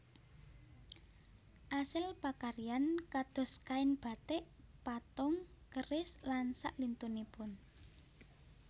Asil pakaryan kados kain batik patung keris lan saklintunipun